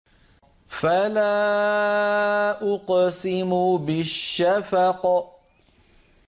فَلَا أُقْسِمُ بِالشَّفَقِ